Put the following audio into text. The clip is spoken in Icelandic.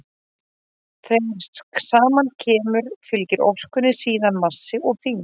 þegar saman kemur fylgir orkunni síðan massi og þyngd